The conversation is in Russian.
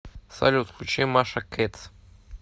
салют включи маша кэтс